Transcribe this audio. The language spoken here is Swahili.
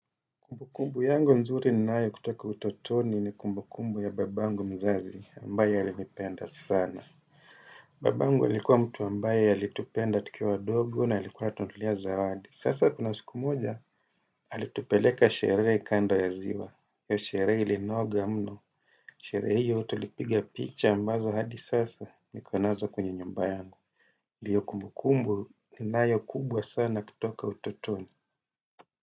Kumbu kumbu yangu nzuri ninayo kutoka utotoni ni kumbu kumbu ya babangu mzazi ambaye alinipenda sana. Babangu alikuwa mtu ambaye alitupenda tukiwa wadogo na alikuwa anatununulia zawadi. Sasa kuna siku moja, alitupeleka sherehe kando ya ziwa. Hiyo sherehe ilinoga mno. Sherehe hiyo tulipiga picha ambazo hadi sasa niko nazo kwenye nyumba yangu. Ndiyo kumbu kumbu ninayo kubwa sana kutoka utotoni.